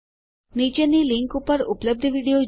નીચેની લીંક ઉપર ઉપલબ્ધ વિડીયો જુઓ